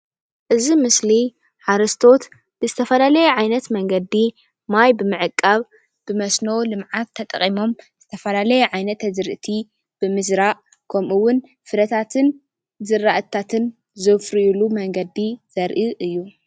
እዚ ምስሊ ሓረስቶት ብዝተፈላለየ ዓይነት መንገዲ ማይ ብምዕቃብ ብመስኖ ልምዓት ተጠቂሞም ዝተፈላለዩ ዓይነት ኣዝርእቲ ብምዝራእ ከምኡ እውን ፍረታትን ዝራእቲታትን ዘፍርይሉ መንገዲ ዘርኢ እዩ፡፡